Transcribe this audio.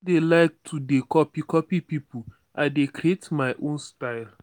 i no dey like to dey copy copy pipu i dey create my own style.